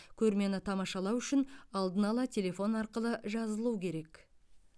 көрмені тамашалау үшін алдын ала телефон арқылы жазылу керек